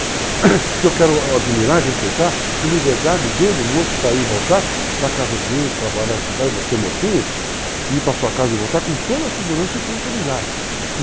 porque eu quero admirar, respeitar a liberdade dele, moço, sair e voltar para a casa dele, trabalhar, estudar, e você, mocinha, ir para a sua casa e voltar com toda a segurança e tranquilidade.